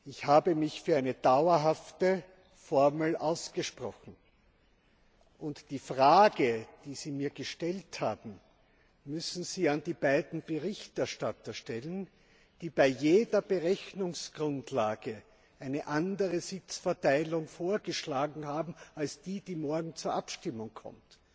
Ich habe mich für eine dauerhafte Formel ausgesprochen. Und die Frage, die Sie mir gestellt haben, müssen Sie den beiden Berichterstattern stellen, die bei jeder Berechnungsgrundlage eine andere Sitzverteilung vorgeschlagen haben als die, die morgen zur Abstimmung kommt.